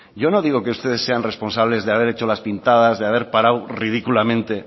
yo no digo que ustedes sean responsables de haber hecho las pintadas de haber parado ridículamente el